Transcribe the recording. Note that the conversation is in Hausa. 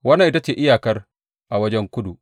Wannan ita ce iyakar a wajen kudu.